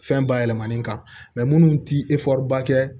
Fɛn bayɛlɛmalen kan minnu tɛ ba kɛ